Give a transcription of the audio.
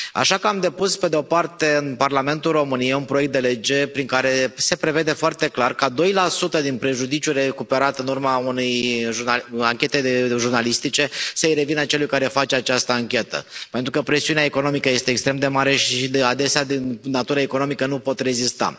Așa că am depus, pe de o parte, în Parlamentul României, un proiect de lege prin care se prevede foarte clar ca doi la sută din prejudiciul recuperat în urma unei anchete jurnalistice să i revină celui care face această anchetă, pentru că presiunea economică este extrem de mare și, adesea de natură economică, nu pot rezista.